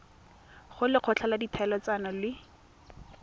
go lekgotla la ditlhaeletsano le